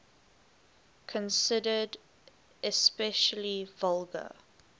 considered especially vulgar